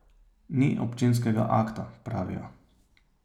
Ni občinskega akta, pravijo.